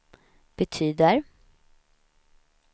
betyder